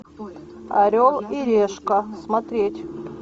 орел и решка смотреть